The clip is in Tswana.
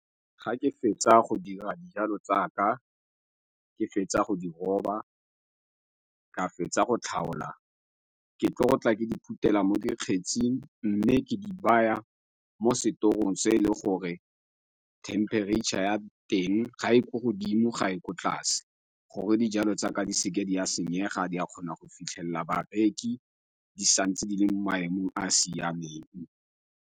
Ga ke fetsa go dira dijalo tsaka, ke fetsa go di roba, ka fetsa go tlhaola. Ke tlo go tla ke di phuthela mo dikgetsing mme ke di baya mo setorong se e leng gore thempereitšha ya teng ga e ko godimo ga e ko tlase, gore dijalo tsaka di seke di a senyega di a kgona go fitlhelela bareki di sa ntse di le mo maemong a a siameng.